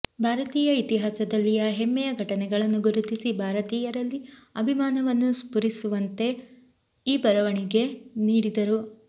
ಭಾರತೀಯ ಇತಿಹಾಸದಲ್ಲಿಯ ಹೆಮ್ಮೆಯ ಘಟನೆಗಳನ್ನು ಗುರುತಿಸಿ ಭಾರತೀಯರಲ್ಲಿ ಅಭಿಮಾನವನ್ನು ಸ್ಫುರಿಸುವಂತೆ ಈ ಬರವಣಿಗೆ ನೀಡಿದರು